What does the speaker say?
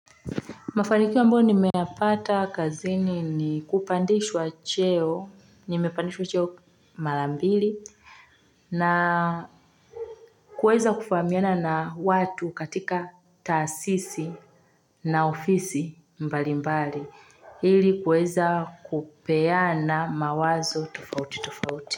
Mafanikio ambayo nimeyapata kazini ni kupandishwa cheo, nimepandishwa cheo mara mbili na kuweza kufahamiana na watu katika taasisi na ofisi mbali mbali, ili kuweza kupeana mawazo tufauti tufauti.